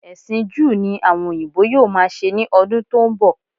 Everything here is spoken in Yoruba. Ẹ̀sìn Júù ni àwọn òyìnbó yóò máa ṣe ní ọdún tó ń bọ̀